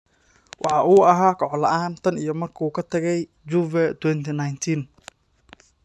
Waxa uu ahaa koox la’aan tan iyo markii uu ka tagay Juve 2019.